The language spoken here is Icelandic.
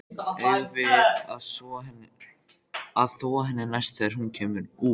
Eigum við að þvo henni næst þegar hún kemur út?